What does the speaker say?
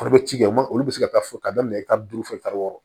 Foro bɛ ci kɛ ma olu bɛ se ka taa fo ka daminɛ i ka duuru fo kalo wɔɔrɔ